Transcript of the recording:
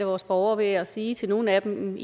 vores borgere ved at sige til nogle af dem